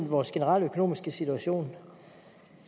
vores generelle økonomiske situation